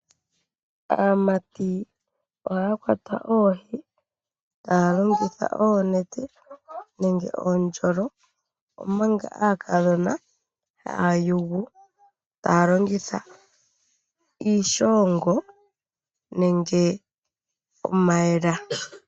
Aamati ohaya kwata oohi taya longitha oonete nenge oondjolo omanga aakadhona taya yulu taya longitha iishongo nenge omayela.